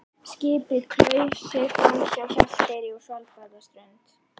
Skipið klauf sig framhjá Hjalteyri og Svalbarðsströnd.